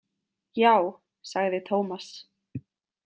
Já, sagði Tómas.